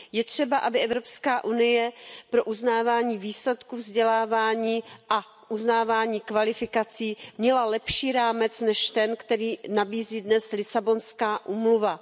Je třeba, aby Evropská unie pro uznávání výsledků vzdělávání a uznávání kvalifikací měla lepší rámec než ten, který nabízí dnes Lisabonská úmluva.